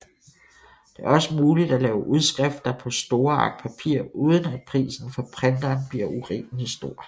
Det er også muligt at lave udskrifter på store ark papir uden at prisen for printeren bliver urimeligt stor